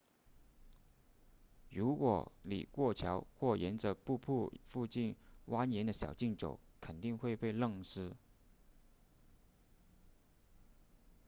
如果你过桥或沿着瀑布附近蜿蜒的小径走肯定会被弄湿